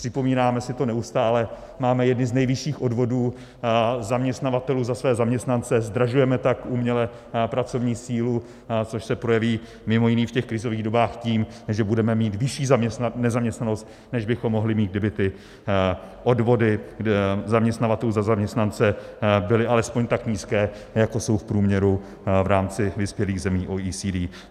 Připomínáme si to neustále, máme jedny z nejvyšších odvodů zaměstnavatelů za své zaměstnance, zdražujeme tak uměle pracovní sílu, což se projeví mimo jiné v těch krizových dobách tím, že budeme mít vyšší nezaměstnanost, než bychom mohli mít, kdyby ty odvody zaměstnavatelů za zaměstnance byly alespoň tak nízké, jako jsou v průměru v rámci vyspělých zemí OECD.